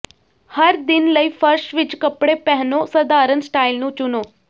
ਹਰ ਦਿਨ ਲਈ ਫਰਸ਼ ਵਿਚ ਕੱਪੜੇ ਪਹਿਨੋ ਸਧਾਰਨ ਸਟਾਈਲ ਨੂੰ ਚੁਣੋ